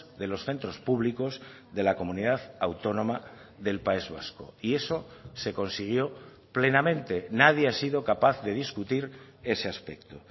de los centros públicos de la comunidad autónoma del país vasco y eso se consiguió plenamente nadie ha sido capaz de discutir ese aspecto